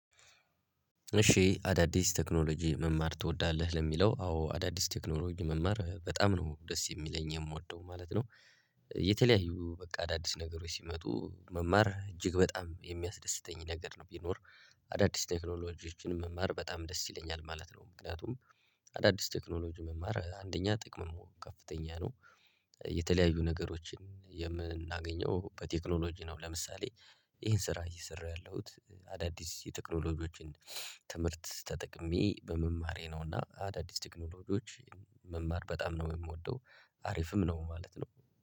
እሺ? አዳዲስ ቴክኖሎጂ መማር ትወዳለህ ለሚለው አዎ አዳዲስ ቴክኖሎጂ መማር በጣም ነው ደስ የሚለኝ የምወደው ማለት ነው። የተለያዩ በቃ አዳዲስ ነገሮች ሲመጡ መማር እጅግ በጣም የሚያስደስተኝ ነገር ነው ቢኖር። አዳዲስ ቴክኖሎጂዎችን መማር በጣም ደስ ይለኛል ማለት ነው። ምክንያቱም አዳዲስ ቴክኖሎጂ መማር አንደኛ ጥቅሙሙ ከፍተኛ ነው። የተለያዩ ነገሮችን የምናገኘው በቴክኖሎጂ ነው ለምሳሌ። ይሄን ስራ እየሰራው ያለሁት አዳዲስ የቴክኖሎጂዎችን ትምህርት ተጠቅሜ በመማሬ ነው። እና አዳዲስ ቴክኖሎጂዎች መማር በጣም ነው የምወደው። አሪፍም ነው ማለት ነው።